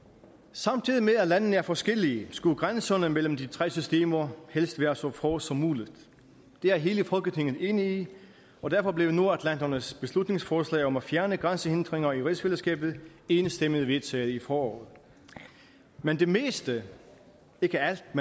samtidig med at landene er forskellige skulle grænserne mellem de tre systemer helst være så få som muligt det er hele folketinget enig i og derfor blev nordatlantens beslutningsforslag om at fjerne grænsehindringer i rigsfællesskabet enstemmigt vedtaget i foråret men det meste ikke alt